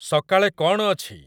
ସକାଳେ କଣ ଅଛି